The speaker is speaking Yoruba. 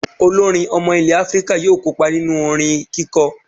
Olórin ọmọ ilẹ̀ Áfíríkà yóò kópa nínú orin kíkọ